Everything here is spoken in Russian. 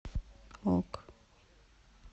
ок